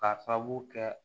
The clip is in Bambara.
K'a sababu kɛ